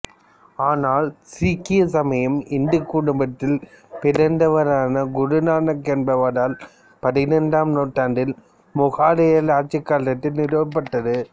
ஆனால் சீக்கிய சமயம் இந்து குடும்பத்தில் பிறந்தவரான குரு நானக் என்பவரால் பதினைந்தாம் நூற்றாண்டில் முகலாயர்கள் ஆட்சிக்காலத்தில் நிறுவப்பட்டது